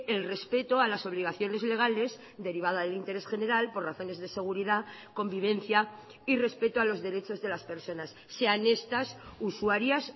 el respeto a las obligaciones legales derivada del interés general por razones de seguridad convivencia y respeto a los derechos de las personas sean estas usuarias